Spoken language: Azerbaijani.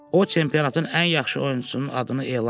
O çempionatın ən yaxşı oyunçusunun adını elan elədi.